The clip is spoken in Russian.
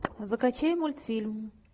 закачай мультфильм